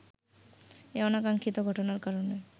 এ অনাকাঙ্ক্ষিত ঘটনার কারণে